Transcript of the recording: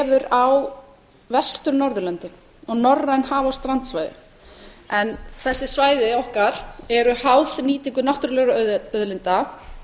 á vestur norðurlöndin á norræn haf og strandsvæði þessi svæði okkar eru háð nýtingu náttúrulegra auðlinda